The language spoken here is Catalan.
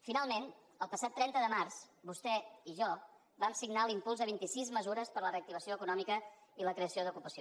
finalment el passat trenta de març vostè i jo vam signar l’impuls de vint i sis mesures per a la reactivació econòmica i la creació d’ocupació